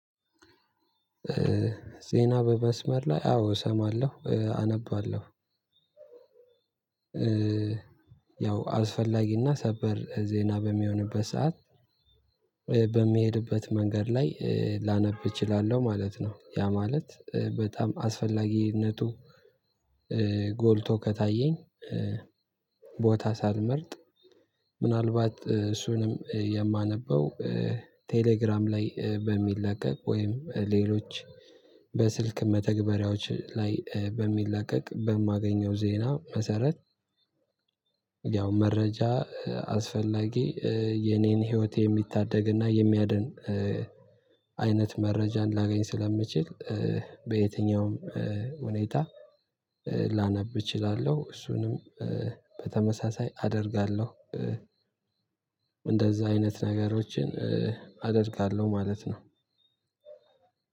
ዜና በመስመር ላይ አዎ እሰማለሁ አነባለሁ። ያው አስፈላጊና ሰበር ዜና በሚሆንበት ሰዓት በሚሄድበት መንገድ ላይ ላነብ እችላለሁ ማለት ነው። ያ ማለት በጣም አስፈላጊነቱ ጎልቶ ከታየኝ። ቦታ ሳልመርጥ ምናልባት እሱንም የማነበው ቴሌግራም ላይ በሚለቀቅ ወይም ሌሎች በስልክ መተግበሪያዎች ላይ በሚላቀቅ በማገኘው ዜና መሰረት። ያው መረጃ አስፈላጊ የኔን ህይወት የሚታደግና የሚያድን አይነት መረጃን ላገኝ ስለምችል በየትኛውም ሁኔታ ላነብ እችላለሁ እሱንም በተመሳሳይ አደርጋለሁ። እንደዝያ አይነት ነገሮችን አደርጋለሁ ማለት ነው።